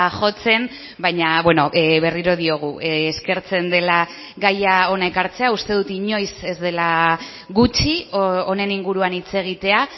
jotzen baina berriro diogu eskertzen dela gaia hona ekartzea uste dut inoiz ez dela gutxi honen inguruan hitz egitea